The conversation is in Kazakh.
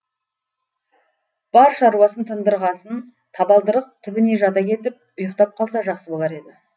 бар шаруасын тындырғасын табалдырық түбіне жата кетіп ұйықтап қалса жақсы болар еді